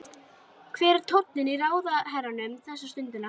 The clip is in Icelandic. Hver er tónninn í ráðherranum þessa stundina?